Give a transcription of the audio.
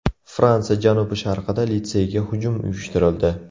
Fransiya janubi-sharqida litseyga hujum uyushtirildi.